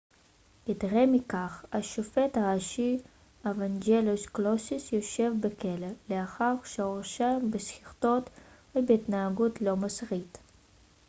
יתרה מכך השופט הראשי אוואנג'לוס קלוסיס יושב בכלא לאחר שהורשע בשחיתות ובהתנהגות לא מוסרית